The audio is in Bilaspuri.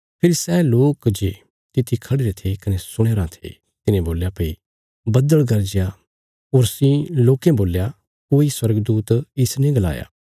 फेरी सै लोक जे तिथी खढ़िरे थे कने सुणया राँ थे तिन्हें बोल्या भई बद्दल़ गरजया होरसी बोल्या कोई स्वर्गदूत इसने गलाया